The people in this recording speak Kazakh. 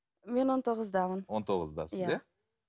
мен он тоғыздамын он тоғыздасыз иә